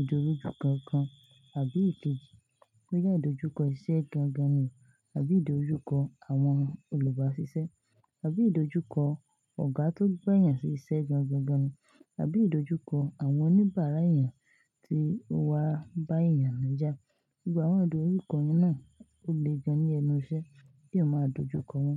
ìdojúkọ kankan àbí ìkejì. Boya ìdojúkọ iṣẹ́ gangan ni, àbí ìdojúkọ àwọn olùbáṣiṣẹ́, àbí ìdojúkọ ọ̀gá tó gba yàn sí iṣẹ́ gangan gan, àbí ìdojúkọ àwọn oníbàárà èyàn tí ó wá bá èyàn lọ́jà. Gbogbo àwọn ìdojúkọ yan náà ó le gan ní ẹnu iṣẹ́, kí eyan máa dojúkọ wọn.